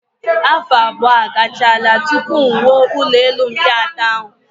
Afọ abụọ agachaala tupu m wuo ụlọelu mkpị atọ ahụ